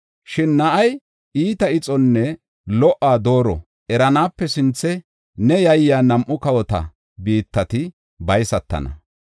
Shin na7ay iita ixonne lo77uwa dooro eranaape sinthe, neeni yayiya nam7u kawota biittati baysatana.